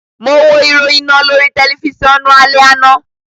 Mo wo iroyin naa lori tẹlifisiọnu alẹ ana